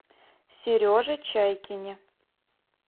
сереже чайкине